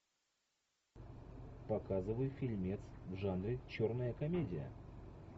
показывай фильмец в жанре черная комедия